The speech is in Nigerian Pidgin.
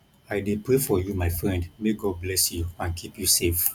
i dey pray for you my friend may god bless you and keep you safe